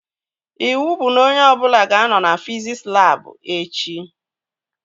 Iwu bụ na onye ọbụla ga-anọ na fiziks labụ echi!